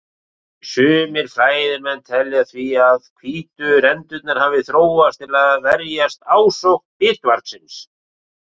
Sumir fræðimenn telja því að hvítu rendurnar hafi þróast til að verjast ásókn bitvargsins.